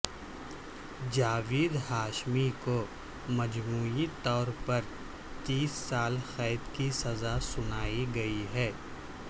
جاوید ہاشمی کو مجموعی طور پر تئیس سال قید کی سزا سنائی گئی ہے